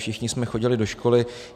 Všichni jsme chodili do školy.